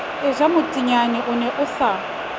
ejamethinya o ne a sa